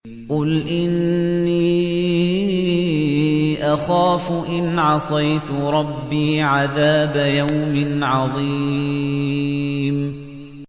قُلْ إِنِّي أَخَافُ إِنْ عَصَيْتُ رَبِّي عَذَابَ يَوْمٍ عَظِيمٍ